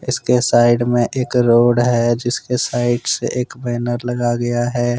इसके साइड मे एक रोड है जिसके साइड से एक बैनर लगा गया है ।